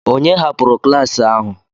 Ònye hapụrụ klas ahụ?